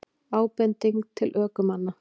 Ábending til ökumanna